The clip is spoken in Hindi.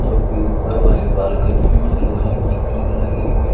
जबकि ऊपर वाली बालकनी में लोहे की ग्रिल लगी हुई --